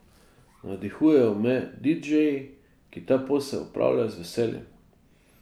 Navdihujejo me didžeji, ki ta posel opravljajo z veseljem.